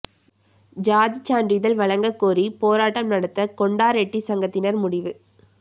சாதிச் சான்றிதழ் வழங்கக் கோரி போராட்டம் நடத்த கொண்டா ரெட்டி சங்கத்தினா் முடிவு